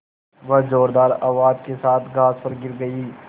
वह ज़ोरदार आवाज़ के साथ घास पर गिर गई